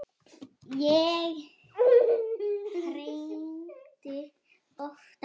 Ég hringdi oftar.